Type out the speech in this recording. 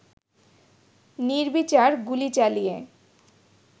নির্বিচার গুলি চালিয়ে